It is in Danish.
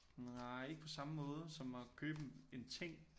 Nej ikke på samme måde som at købe en en ting